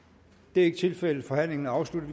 det er ikke tilfældet forhandlingen er afsluttet